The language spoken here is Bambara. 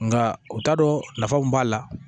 Nka u t'a dɔn nafa mun b'a la